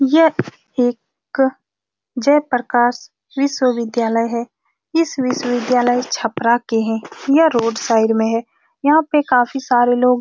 यह एक जयप्रकाश विश्वविद्यालय है इस विश्वविद्यालय छप्परा के हैं यह रोड साइड में है यहाँ पर काफी सारे लोग --